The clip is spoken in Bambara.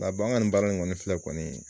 Nga an ka ni baara in kɔni filɛ kɔni